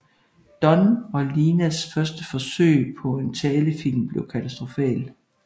Don og Linas første forsøg på en talefilm bliver katastrofal